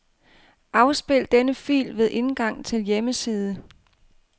Afspil denne fil ved indgang til hjemmeside.